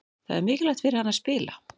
Það er mikilvægt fyrir hann að spila.